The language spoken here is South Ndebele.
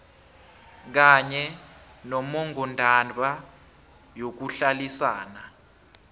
kanye nommongondaba yokuhlalisana